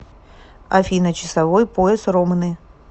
афина часовой пояс ромны